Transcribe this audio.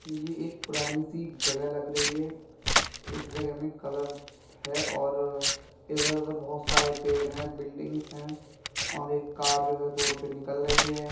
ये एक पुरानी सी जगह लग रही है। इस जगह मे कलर है और इधर उधर बहोत सारे पेड़ है बिल्डिंग्स है और एक कार है जो है रोड पे निकल रही है।